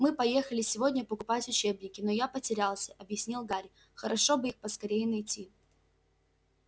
мы поехали сегодня покупать учебники но я потерялся объяснил гарри хорошо бы их поскорее найти